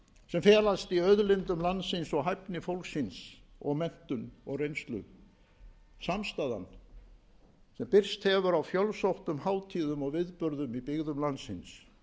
sem felast í auðlindum landsins og hæfni fólksins menntun og reynslu samstaðan sem birst hefur á fjölsóttum hátíðum og viðburðum í byggðum landsins